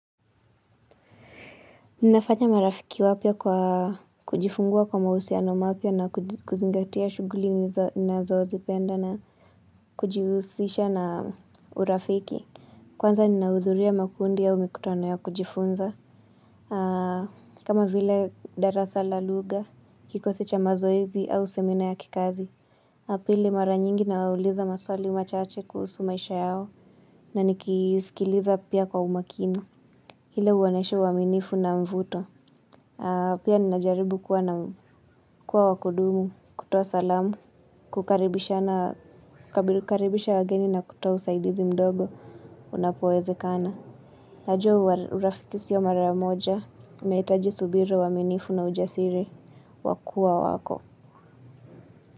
Ninafanya marafiki wapya kwa kujifungua kwa mahusiano mapya na kuzingatia shughuli nazozipenda na kujihusisha na urafiki. Kwanza ninahudhuria makundi au mikutano ya kujifunza. Kama vile darasa la lugha, kikosi cha mazoezi au semina ya kikazi. Na pili, mara nyingi nawauliza maswali machache kuhusu maisha yao na nikisikiliza pia kwa umakini. Ili uwaonyeshe uaminifu na mvuto. Pia ninajaribu kuwa wa kudumu, kutoa salamu, kukaribisha wageni na kutoa usaidizi mdogo unapowezekana. Najua urafiki sio mara moja, unahitaji subira, uaminifu na ujasiri, wa kuwa wako.